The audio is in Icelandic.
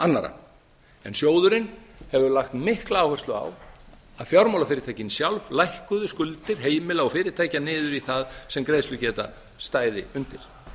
annarra en sjóðurinn hefur lagt mikla áherslu á að fjármálafyrirtækin sjálf lækkuðu skuldir heimila og fyrirtækja niður í það sem greiðslugeta stæði undir